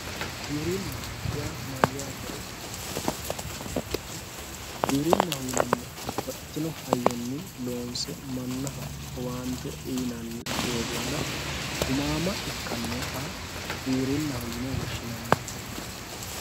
giwirinna yaa mayyaatero giwirinnaho yinannihu babbaxxitino hayyonni loonse mannaho owaante uyiinanni doogonna gumaamma ikkannoha giwirinnaho yine woshshinanni